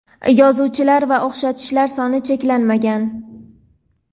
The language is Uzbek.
Yozuvchilar va o‘xshatishlar soni cheklanmagan.